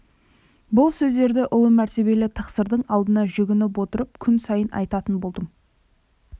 бұл сөздерді ұлы мәртебелі тақсырдың алдында жүгініп отырып күн сайын айтатын болдым